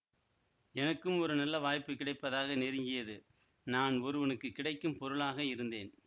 எனக்கும் ஒரு நல்ல வாய்ப்பு கிடைப்பதாக நெருங்கியது நான் ஒருவனுக்கு கிடைக்கும் பொருளாக இருந்தேன்